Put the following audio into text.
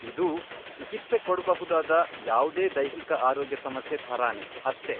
ಇದೂ ಚಿಕಿತ್ಸೆ ಕೊಡ್ಬಹುದಾದ ಯಾವ್ದೇ ದೈಹಿಕ ಆರೋಗ್ಯ ಸಮಸ್ಯೆ ಥರಾನೇ ಅಷ್ಟೇ.